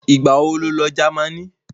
ìgbà wo lo Jámánì?